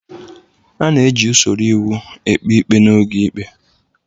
A na-eji usoro iwu ekpe ikpe n'oge ikpe.